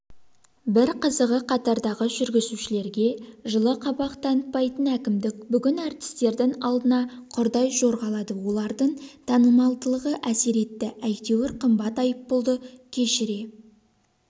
бір қызығы қатардағы жүргізушілерге жылы қабақ танытпайтын әкімдік бүгін әртістердің алдында құрдай жорғалады олардың танымалдығы әсер етті әйтеуір қымбат айыппұлды кешіре